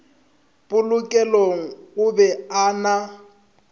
polokelong o be a na